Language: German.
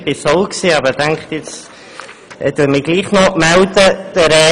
Ich war es auch, habe mich aber nun doch gemeldet.